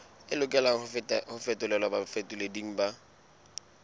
lokelang ho fetolelwa bafetoleding ba